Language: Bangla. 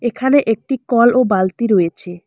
এখানে একটি কল ও বালতি রয়েছে।